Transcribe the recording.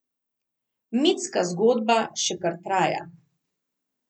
Mitska zgodba še kar traja.